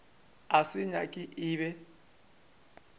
a se nyaka e be